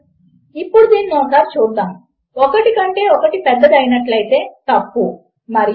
వాటిని మీ IF statement లో చూపించండి మరియు వాటిలో ఏదో ఒకటి ట్రూ అయితే సరిపోతుంది కనుక అది ఒక ఐథర్ ఆపరేటర్ వంటిది